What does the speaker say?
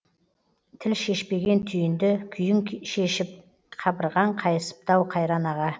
тіл шешпеген түйінді күйің шешіп қабырғаң қайысыпты ау қайран аға